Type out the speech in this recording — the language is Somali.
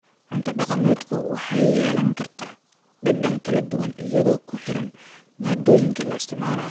Cunto dhaqameedku waxay yeelan kartaa dhadhan kala duwan iyadoo ku xiran maaddooyinka la isticmaalo.